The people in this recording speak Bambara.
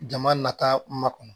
Jama nata ma kɔnɔ